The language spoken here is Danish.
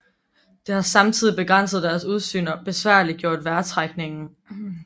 Det har samtidig begrænset deres udsyn og besværliggjort vejrtrækningen